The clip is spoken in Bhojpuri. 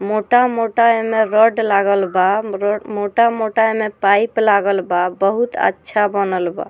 मोटा-मोटा एमे रॉड लागल बा र मोटा-मोटा एमे पाइप लागल बा बहुत अच्छा बनल बा।